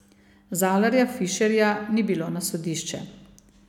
Zalarja, Fišerja ni bilo na sodišče.